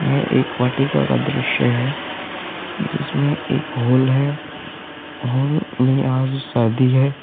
यह एक वाटिका का दृश्य है जिसमें एक हॉल है हॉल में आज शादी है।